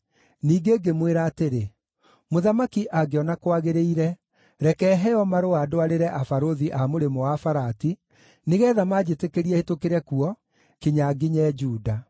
Ningĩ ngĩmwĩra atĩrĩ, “Mũthamaki angĩona kwagĩrĩire, reke heo marũa ndwarĩre abarũthi a Mũrĩmo-wa-Farati, nĩgeetha manjĩtĩkĩrie hĩtũkĩre kuo kinya nginye Juda.